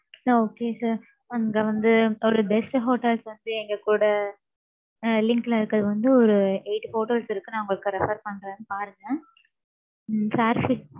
okay sir அங்க வந்து, ஒரு best hotels வந்து, எங்க கூட, அஹ் link ல இருக்கிறது வந்து eight hotels இருக்கு. நான் உங்களுக்கு refer பண்றேன், பாருங்க. உம்